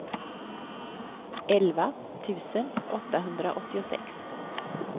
elva tusen åttahundraåttiosex